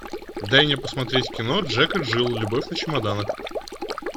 дай мне посмотреть кино джек и джилл любовь на чемоданах